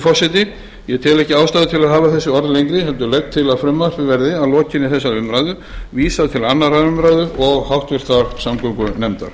forseti ég tel ekki ástæðu til að hafa þessi orð lengri heldur legg til að frumvarpinu verði að lokinni þessari umræðu vísað til annarrar umræðu og háttvirtrar samgöngunefndar